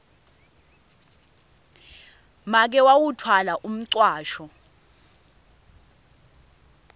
make wawutfwala umcwasho